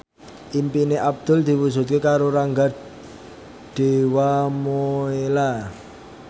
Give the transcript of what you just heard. impine Abdul diwujudke karo Rangga Dewamoela